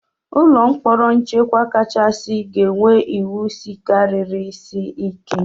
Ụlọ mkpọrọ nchekwa kachasị ga-enwe iwu sika siri ike.